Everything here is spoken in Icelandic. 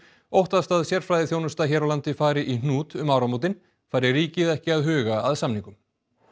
óttast að sérfræðiþjónusta hér á landi fari í hnút um áramótin fari ríkið ekki að huga að samningum